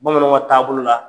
Bamananw ka taabolo la.